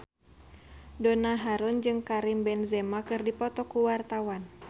Donna Harun jeung Karim Benzema keur dipoto ku wartawan